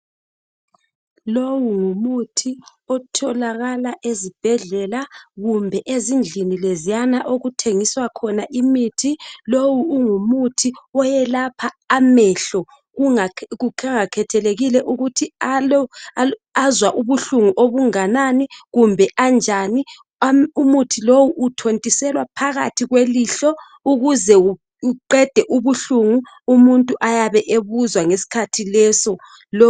Lowu ngumuthi otholakala ezibhedlela kumbe ezindlini lezana okuthengisa khona imithi lowu ungumuthi okwelapha amehlo kungakhethekile ukuthi azwa ubuhlungu okunganani kumbe anjani umuthi lowu uthontiselwa phakathi kwelihlo ukuze buqede ubuhlungu umuntu ayabekuzwa ngesikhathi leso.